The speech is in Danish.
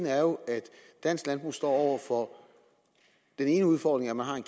er jo at dansk landbrug står over for den ene udfordring at man har en